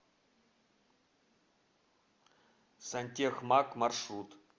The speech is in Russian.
сантехмаг маршрут